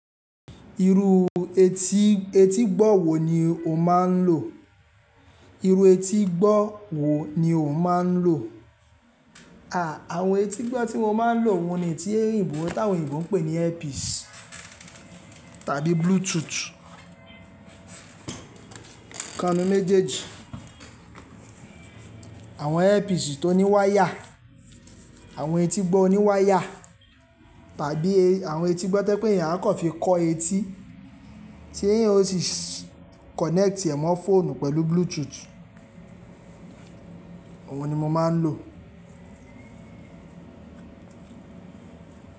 Iru etí etígbọ́ wo ni o máa ń lò? Iru etígbọ́ wo ni o máa ń lò? À, àwọn etígbọ́ tí mo máa ń lò wọ́n ni etí èyìnbò táwọn òyìnbó pè ní earpiece tàbí Bluetooth. Ká mi méjèèjì. Àwọn earpiece tó ní wáyà, àwọn etígbọ́ oní wáyà tàbí àwọn etígbọ́ tó pé èèyàn á kọ fi kọ etí tí èèyàn ó ti kọ̀nẹ́ẹ̀tì ẹ̀ mọ́ fóònù pẹ̀lú Bluetooth. Òun ni mo máa ń lò.